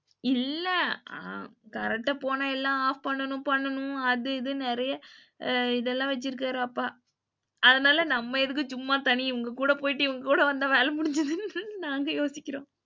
இல்ல current போனா எல்லாம் off பண்ணனும் அது இதுனு நெறைய இதெல்லாம் வச்சுருக்காரு அப்பா. அதனால நம்ம எதுக்கு சும்மா தனியா இவங்க கூட போயிட்டு இவங்ககூட வந்த வேல முடிஞ்சுரும்னு நாங்க யோசிக்கிறோம்.